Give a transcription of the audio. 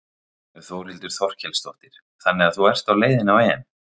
Þórhildur Þorkelsdóttir: Þannig að þú ert á leiðinni á EM?